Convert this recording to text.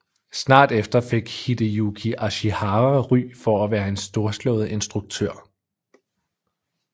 Snart efter fik Hideyuki Ashihara ry for at være en storslået instruktør